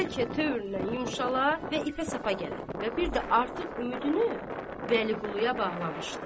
bəlkə tövründən yumşalar və ipə sapa gələr və bir də artıq ümidini Vəliquluya bağlamışdı.